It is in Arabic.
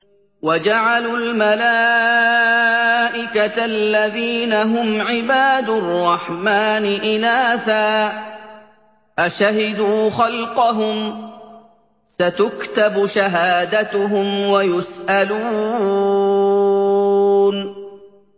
وَجَعَلُوا الْمَلَائِكَةَ الَّذِينَ هُمْ عِبَادُ الرَّحْمَٰنِ إِنَاثًا ۚ أَشَهِدُوا خَلْقَهُمْ ۚ سَتُكْتَبُ شَهَادَتُهُمْ وَيُسْأَلُونَ